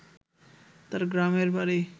তার গ্রামের বাড়ি